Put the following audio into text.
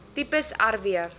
tipes r w